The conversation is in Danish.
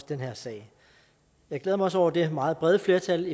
den her sag jeg glæder mig også over det meget brede flertal